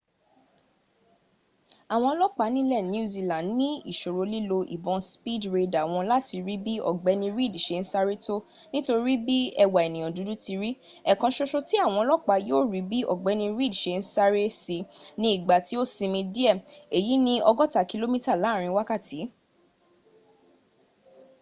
àwọn ọlọ́pàá ilẹ̀ new zealand ní ìṣòro lílo ìbọn speed radar wọn láti rí bí ọ̀gbẹ́ni reid ṣe ń sáré tó nítorí bí ẹwà ẹ̀nìyàn dudu ti ri ẹ̀ẹ̀kan soso tí àwọn ọlọ́pàá yóò rí bí ọgbẹ́ni reid ṣe ń sáré sí ni ìgbà tí ó sinmi díẹ̀ èyi ni ọgọ́ta kìlómíta láàrin wákàtí